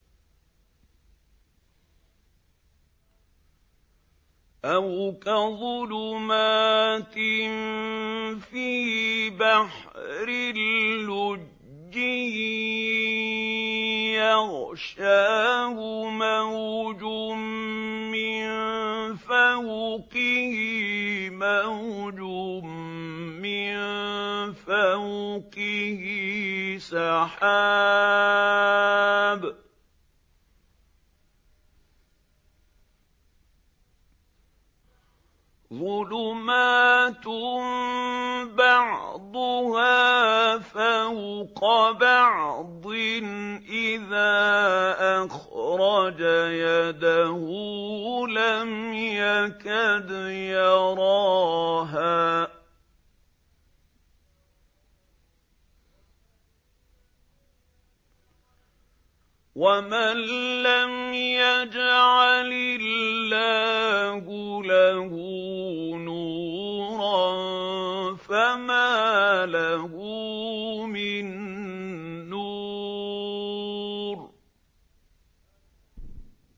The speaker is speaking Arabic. أَوْ كَظُلُمَاتٍ فِي بَحْرٍ لُّجِّيٍّ يَغْشَاهُ مَوْجٌ مِّن فَوْقِهِ مَوْجٌ مِّن فَوْقِهِ سَحَابٌ ۚ ظُلُمَاتٌ بَعْضُهَا فَوْقَ بَعْضٍ إِذَا أَخْرَجَ يَدَهُ لَمْ يَكَدْ يَرَاهَا ۗ وَمَن لَّمْ يَجْعَلِ اللَّهُ لَهُ نُورًا فَمَا لَهُ مِن نُّورٍ